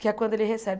que é quando ele recebe.